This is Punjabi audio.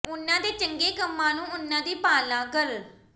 ਉਨ੍ਹਾਂ ਦੇ ਚੰਗੇ ਕੰਮਾਂ ਨੂੰ ਉਨ੍ਹਾਂ ਦੀ ਪਾਲਣਾ ਕਰ